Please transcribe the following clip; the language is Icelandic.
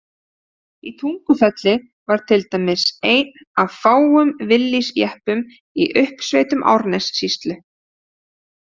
Í Tungufelli var til dæmis einn af fáum Willys-jeppum í uppsveitum Árnessýslu.